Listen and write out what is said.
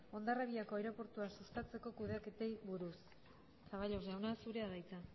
hondarribiko aireportua sustatzeko kudeaketei buruz zaballos jauna zurea da hitza